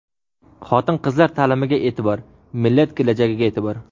Xotin-qizlar ta’limiga e’tibor — millat kelajagiga e’tibor!.